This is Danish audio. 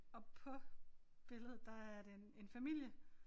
Og på billedet der er det en en familie